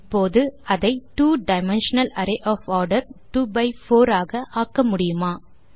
இப்போது அதை two dimensional array of order 2 by 4 ஆக ஆக்க முடியுமா